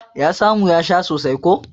Ya samu ya sha sosai ko.